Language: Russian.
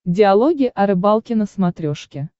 диалоги о рыбалке на смотрешке